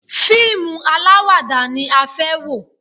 Fíìmù alawada ni a fẹ́ wò.